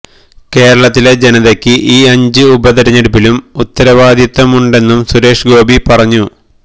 കേരളത്തിലെ ജനതയ്ക്ക് ഈ അഞ്ച് ഉപതിരഞ്ഞെടുപ്പിലും ഉത്തരവാദിത്തമുണ്ടെന്നും സുരേഷ് ഗോപി പറഞ്ഞു